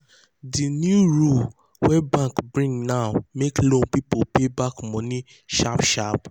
di new di new rule wey bank bring now make loan people pay back money sharp sharp.